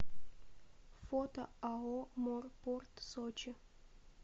фото ао морпорт сочи